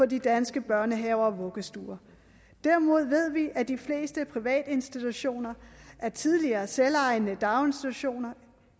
de danske børnehaver og vuggestuer derimod ved vi at de fleste private institutioner er tidligere selvejende daginstitutioner